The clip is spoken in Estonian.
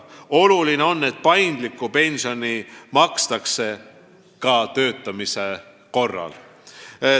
Oluline on, et paindlikku pensioni makstakse ka töötamise korral.